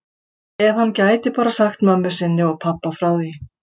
Ef hann gæti bara sagt mömmu sinni og pabba frá því.